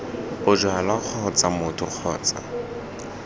bojalwa kgotsa b motho kgotsa